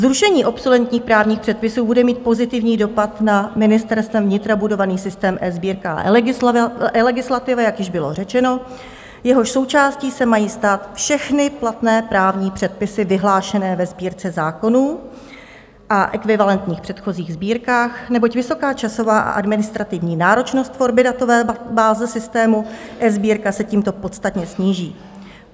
Zrušení obsoletních právních předpisů bude mít pozitivní dopad na Ministerstvem vnitra budovaný systém eSbírka a eLegislativa, jak již bylo řečeno, jehož součástí se mají stát všechny platné právní předpisy vyhlášené ve Sbírce zákonů a ekvivalentních předchozích sbírkách, neboť vysoká časová a administrativní náročnost tvorby datové báze systému eSbírka se tímto podstatně sníží.